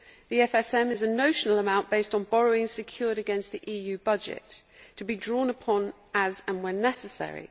The EFSM is a notional amount based on borrowing secured against the EU budget, to be drawn upon as and when necessary.